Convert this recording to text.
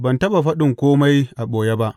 Ban taɓa faɗin kome a ɓoye ba.